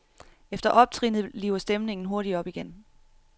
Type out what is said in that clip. Efter optrinnet liver stemningen hurtigt op igen.